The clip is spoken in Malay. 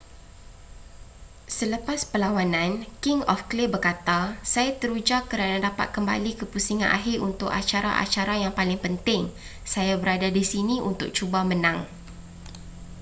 selepas perlawanan king of clay berkata saya teruja kerana dapat kembali ke pusingan akhir untuk acara-acara yang paling penting saya berada di sini untuk cuba menang